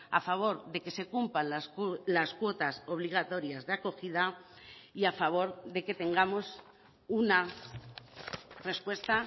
a favor de que se cumplan las cuotas obligatorias de acogida y a favor de que tengamos una respuesta